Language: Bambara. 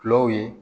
Kulaw ye